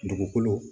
Dugukolo